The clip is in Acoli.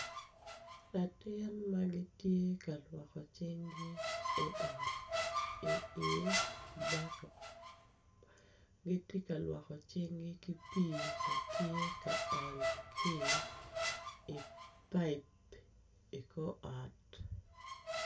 Latin ma gitye ka gitye ka lwoko cinggi i ot i baket gitye ka lwoko cinggi ki pii ma tye ka ony ki i paip ikor ot.